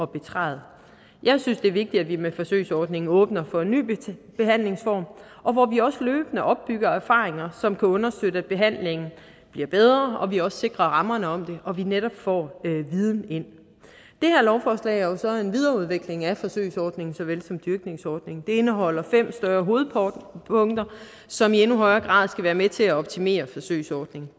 betræde jeg synes det er vigtigt at vi med forsøgsordningen åbner for en ny behandlingsform hvor vi også løbende opbygger erfaringer som kan understøtte at behandlingen bliver bedre og at vi også sikrer rammerne om det og at vi netop får viden ind det her lovforslag er jo så en videreudvikling af forsøgsordningen såvel som dyrkningordningen det indeholder fem større hovedpunkter som i endnu højere grad skal være med til at optimere forsøgsordningen